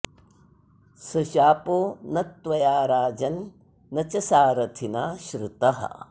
स शापो न त्वया राजन्न च सारथिना श्रुतः